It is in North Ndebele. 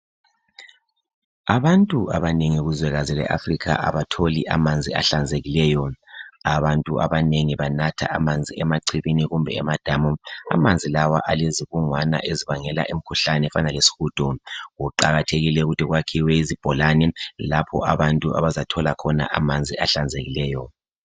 Abantu abanengi kuzwekazi leAfrica abatholi amanzi ahlanzekileyo, abantu abanengi banatha amanzi emachibini kumbe emadamu. Amanzi lawa alezibungwana ezibangela imikhuhlane efana lesihudo, kuqakathekile ukuthi kwakhiwe izibholane lapho abantu abazathola khona amanzi ahlanzekileyo.